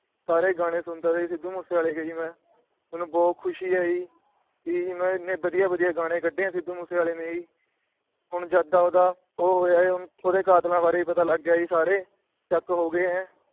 ਸਾਰੇ ਗਾਂਣੇ ਸੁਣਦਾ ਸੀ ਜੀ ਸਿੱਧੂ ਮੂਸੇਵਾਲੇ ਦੇ ਮੈ। ਮੈਨੂੰ ਬਹੁਤ ਖੁਸ਼ੀ ਏ ਜੀ ਵੀ ਏਡੇ ਵਧੀਆ ਵਧੀਆ ਗਾਂਣੇ ਕੱਢੇ ਆ ਸਿੱਧੂ ਮੂਸੇਵਾਲੇ ਨੇ ਜੀ। ਹੁਣ ਜਦ ਦਾ ਉਹਦਾ ਉਹ ਹੋਇਆ ਉਹਦੇ ਕਾਤਲਾਂ ਬਾਰੇ ਵੀ ਪਤਾ ਲੱਗ ਗਿਆ ਸਰ ਚੈੱਕ ਹੋ ਗਏ ਐ।